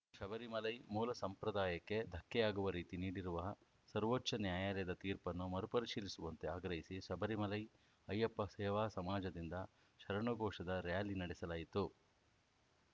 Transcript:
ಶಬರಿಮಲೈ ಮೂಲ ಸಂಪ್ರದಾಯಕ್ಕೆ ಧಕ್ಕೆಯಾಗುವ ರೀತಿ ನೀಡಿರುವ ಸರ್ವೋಚ್ಛ ನ್ಯಾಯಾಲಯದ ತೀರ್ಪನ್ನು ಮರು ಪರಿಶೀಲಿಸುವಂತೆ ಆಗ್ರಹಿಸಿ ಶಬರಿಮಲೈ ಅಯ್ಯಪ್ಪ ಸೇವಾ ಸಮಾಜದಿಂದ ಶರಣು ಘೋಷದ ರಾರ‍ಯಲಿ ನಡೆಸಲಾಯಿತು